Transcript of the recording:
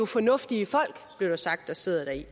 fornuftige folk blev der sagt der sidder deri